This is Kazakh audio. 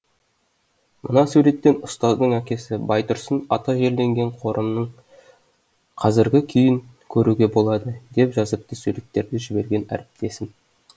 мына суреттен ұстаздың әкесі байтұрсын ата жерленген қорымның қазіргі күйін көруге болады деп жазыпты суреттерді жіберген әріптесім